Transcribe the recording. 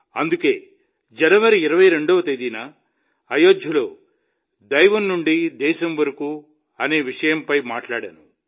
అందుకే జనవరి 22వ తేదీన అయోధ్యలో దైవం నుండి దేశం వరకు అనే విషయంపై మాట్లాడాను